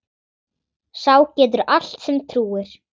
Sá getur allt sem trúir.